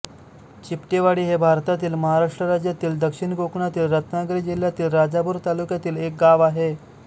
चिपटेवाडी हे भारतातील महाराष्ट्र राज्यातील दक्षिण कोकणातील रत्नागिरी जिल्ह्यातील राजापूर तालुक्यातील एक गाव आहे